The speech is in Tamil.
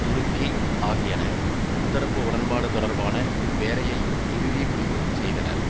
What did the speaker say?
துருக்கி ஆகியன முத்தரப்பு உடன்பாடு தொடர்பான வேலையை இறுதி முடிவு செய்தனர்